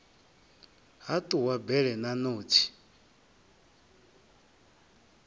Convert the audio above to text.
ha ṱuwa bele na ṋotshi